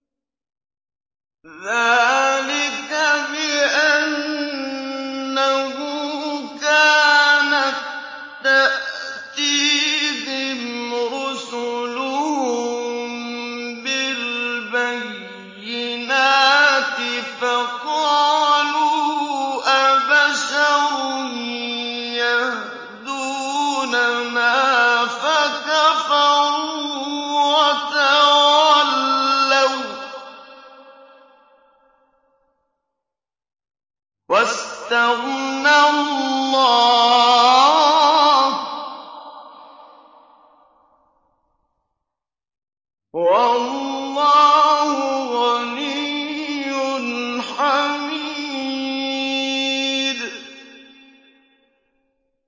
ذَٰلِكَ بِأَنَّهُ كَانَت تَّأْتِيهِمْ رُسُلُهُم بِالْبَيِّنَاتِ فَقَالُوا أَبَشَرٌ يَهْدُونَنَا فَكَفَرُوا وَتَوَلَّوا ۚ وَّاسْتَغْنَى اللَّهُ ۚ وَاللَّهُ غَنِيٌّ حَمِيدٌ